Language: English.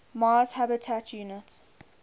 mars habitat unit